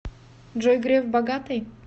джой греф богатый